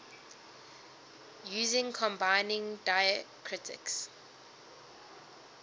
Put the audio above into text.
using combining diacritics